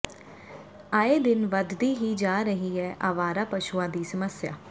ਆਏ ਦਿਨ ਵੱਧਦੀ ਹੀ ਜਾ ਰਹੀ ਹੈ ਆਵਾਰਾ ਪਸ਼ੂਆਂ ਦੀ ਸਮੱਸਿਆ